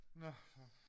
Nå så